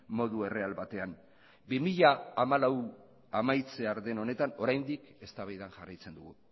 modu erreal batean bi mila hamalau amaitzear den honetan oraindik eztabaidan jarraitzen dugu